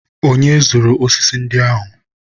onye zụrụ osisi ndị ahụ?